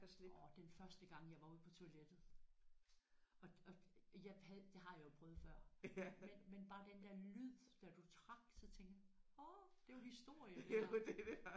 Orh den første gang jeg var ude på toilettet og og jeg havde det har jeg jo prøvet før men men bare den der lyd da du trak så tænkte jeg åh det er jo historie det her